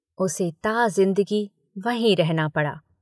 उसे ताज़िन्दगी वहीं रहना पड़ा।